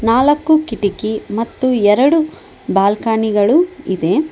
ನಾಲಕ್ಕು ಕಿಟಕಿ ಮತ್ತು ಎರಡು ಬಾಲ್ಕನಿ ಗಳು ಇದೆ.